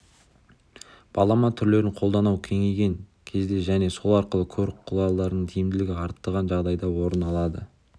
балама түрлерін қолдану кеңейген кезде және сол арқылы көлік құралдарының тиімділігін арттырған жағдайда орын алады